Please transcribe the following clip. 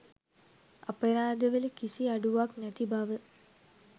අපරාධවල කිසි අඩුවක් නැති බව